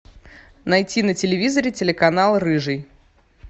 найти на телевизоре телеканал рыжий